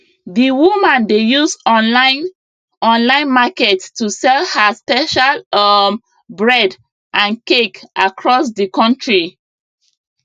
di woman dey use online online market to sell her special um bread and cake across di country